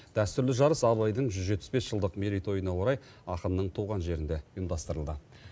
дәстүрлі жарыс абайдың жүз жетпіс бес жылдық мерейтойына орай ақынның туған жерінде ұйымдастырылды